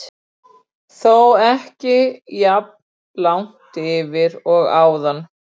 Þó ekki jafn langt yfir og áðan.